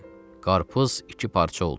Qarpız iki parça oldu.